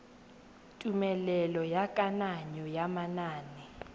tumelelo ya kananyo ya manane